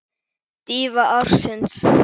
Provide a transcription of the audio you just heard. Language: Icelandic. Dýfa ársins?